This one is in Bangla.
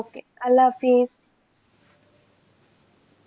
okay আল্লাহ হাফিস.